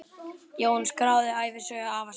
Jón skráði ævisögu afa síns.